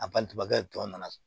A balimankɛ tɔ nana